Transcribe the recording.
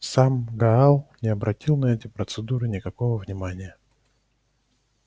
сам гаал не обратил на эти процедуры никакого внимания